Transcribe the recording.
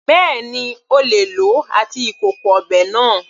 Bẹ́ẹ̀ni, O lè lòó àti ìkòkò ọbẹ̀ náà.